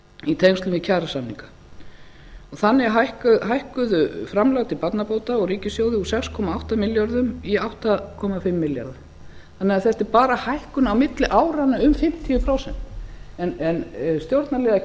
í tengslum við kjarasamninga þannig hækkuðu framlög til barnabóta úr ríkissjóði um sex komma átta milljörðum í átta komma fimm milljarða þannig að þetta er bara hækkun á milli áranna um fimmtíu prósent en stjórnarliðar